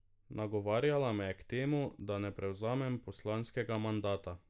Nagovarjala me je k temu, da ne prevzamem poslanskega mandata.